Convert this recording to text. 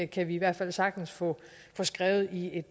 kan vi i hvert fald sagtens få skrevet i